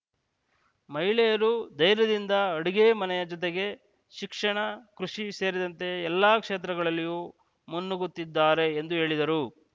ವಹಿಳೆಯರು ಧೈರ್ಯದಿಂದ ಅಡುಗೆ ಮನೆಯ ಜೊತೆಗೆ ಶಿಕ್ಷಣ ಕೃಷಿ ಸೇರಿದಂತೆ ಎಲ್ಲ ಕ್ಷೇತ್ರಗಳಲ್ಲಿಯೂ ಮುನ್ನುಗ್ಗುತ್ತಿದ್ದಾರೆ ಎಂದು ಹೇಳಿದರು